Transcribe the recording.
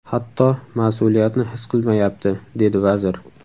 Hatto mas’uliyatni his qilmayapti”, dedi vazir.